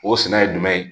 O sɛnɛ ye jumɛn ye